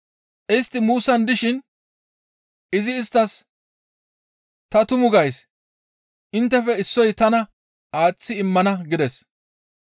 Istti muussan dishin izi isttas, «Ta tumu gays; inttefe issoy tana aaththi immana» gides.